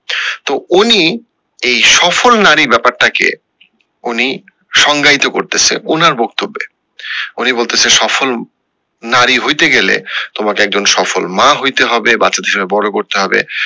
তো উনি এই সফল নারী ব্যাপারটা কে উনি সঙ্গায়িত করতেসে ওনার বক্তব্যে উনি বলতেসে সফল নারী হইতে গেলে তোমাকে একজন সফল মা হইতে হবে বাচ্চাদের সঙ্গে বড়ো করতে হবে